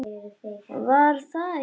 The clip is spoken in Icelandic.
Var það ekki!